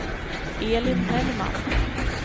Elin Hellman